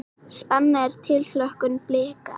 Spenna og tilhlökkun Blika